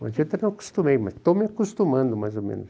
Até hoje não acostumei, mas estou me acostumando mais ou menos.